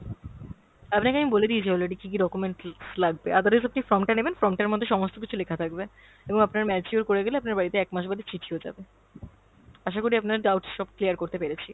আপনাকে আমি বলে দিয়েছি already কী কী documents লাগবে, otherwise আপনি form টা নেবেন, form টার মধ্যে সমস্ত কিছু লেখা থাকবে। এবং আপনার mature করে গেলে আপনার বাড়িতে একমাস বাদে চিঠিও যাবে। আশাকরি আপনার doubts সব clear করতে পেরেছি।